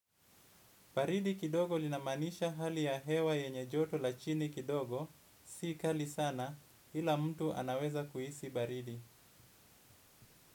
Baridi kidogo linamaanisha hali ya hewa yenye joto la chini kidogo si kali sana kila mtu anaweza kuhisi baridi.